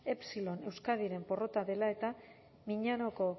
epsilon euskadiren porrota dela eta miñaoko